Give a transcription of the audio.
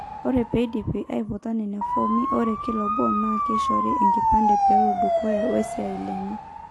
Ore peidip aiputa nena fomi, ore kila obo naa keishori enkipande pelodukuya wesiai enye.